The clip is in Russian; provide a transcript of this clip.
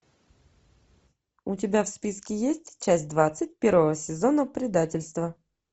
у тебя в списке есть часть двадцать первого сезона предательство